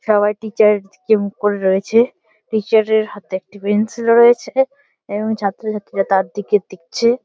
সবাই টিচার এর দিকে মুখ করে রয়েছে। টিচার এর হাতে একটি পেন্সিল রয়েছে এবং ছাত্র ছাত্রীরা তার দিকে দেখছে।